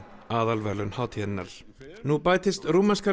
aðalverðlaun hátíðarinnar nú bætist rúmenska